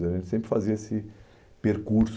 A gente sempre fazia esse percurso.